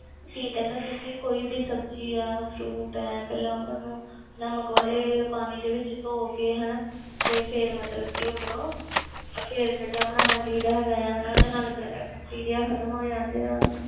ਕਿ ਕਹਿੰਦੇ ਹੁੰਦੇ ਸੀ ਕੋਈ ਵੀ ਸਬਜ਼ੀ ਹੈ fruit ਹੈ ਪਹਿਲਾਂ ਉਹਨਾਂ ਨੂੰ ਨਮਕ ਵਾਲੇ ਪਾਣੀ ਦੇ ਵਿੱਚ ਧੌ ਕੇ ਹਨਾ ਤੇ ਫਿਰ ਮਤਲਬ ਕਿ ਉਹ ਕਰੋ ਅਹ ਫਿਰ ਖਾਣਾ ਬਣਾਉਣਾ ਚਾਹੀਦਾ ਹੈਗਾ ਆ ਹਨਾ ਇਹਦੇ ਨਾਲ ਬੈ~ bacteria ਖ਼ਤਮ ਹੋ ਜਾਂਦੇ ਆ